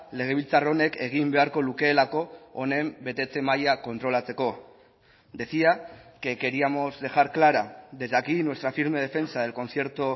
legebiltzar honek egin beharko lukeelako honen betetze maila kontrolatzeko decía que queríamos dejar clara desde aquí nuestra firme defensa del concierto